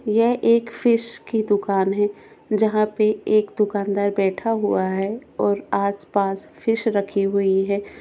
यह एक फिश की दुकान है जहां पे एक दुकानदार बैठा हुआ है और आसपास फिश रखी हुई है।